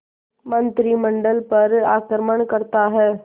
मंत्रिमंडल पर आक्रमण करता है